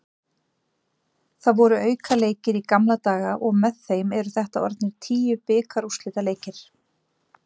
Það voru aukaleikir í gamla daga og með þeim eru þetta orðnir tíu bikarúrslitaleikir.